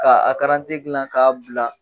K'a a karanti dilan k'a bila